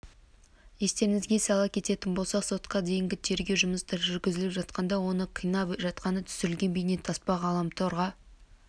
естеріңізге сала кететін болсақ сотқа дейінгі тергеу жұмыстары жүргізіліп жатқанда оны қинап жатқаны түсірілген бейнетаспа ғаламтор